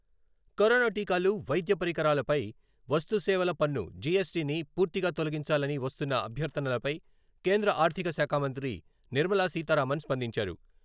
Corona టీకాలు, వైద్య పరికరాల పై వస్తు సేవల పన్ను, జి.యస్.టి. ని పూర్తిగా తొలగించాలని వస్తున్న అభ్యర్ధనలపై కేంద్ర ఆర్ధిక శాఖా మంత్రి నిర్మలా సీతా రామన్ స్పందించారు.